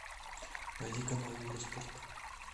найди канал евроспорт